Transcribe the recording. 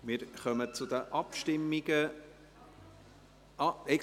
Wir kommen zu den Abstimmungen.